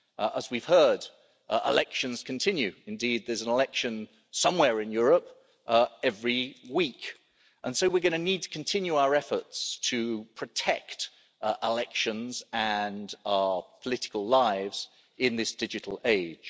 As we've heard, elections continue indeed there's an election somewhere in Europe every week, and so we're going to need to continue our efforts to protect elections and our political lives in this digital age.